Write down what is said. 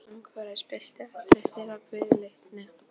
Það var einsog umhverfið spillti allri þeirra viðleitni.